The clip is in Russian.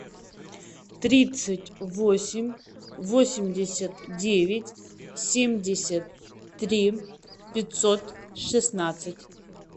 тридцать восемь восемьдесят девять семьдесят три пятьсот шестнадцать